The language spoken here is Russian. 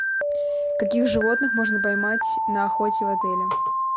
каких животных можно поймать на охоте в отеле